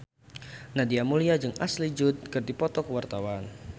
Nadia Mulya jeung Ashley Judd keur dipoto ku wartawan